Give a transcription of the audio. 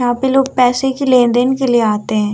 यहाँ पे लोग पैसे की लेन-देन के लिये आते है।